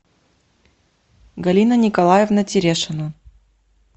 галина николаевна терешина